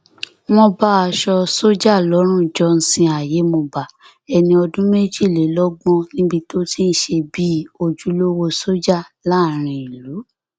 wọn bá aṣọ sójà lọrùn johnson ayémọba ẹni ọdún méjìlélọgbọn níbi tó ti ń ṣe bíi ojúlówó sójà láàrin ìlú